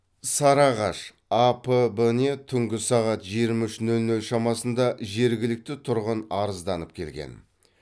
сарыағаш апб не түнгі сағат жиырма үш нөл нөл шамасында жергілікті тұрғын арызданып келген